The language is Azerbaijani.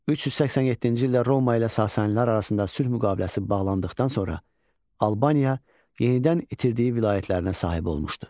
387-ci ildə Roma ilə Sasanilər arasında sülh müqaviləsi bağlandıqdan sonra Albaniya yenidən itirdiyi vilayətlərinə sahib olmuşdu.